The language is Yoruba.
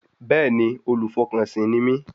Bẹ́ẹ̀ni, olùfọkànsìn ni mí